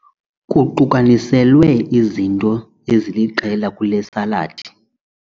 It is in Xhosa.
Kuqukaniselwe izinto eziliqela kule saladi.